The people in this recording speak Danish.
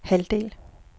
halvdel